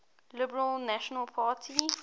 liberal national party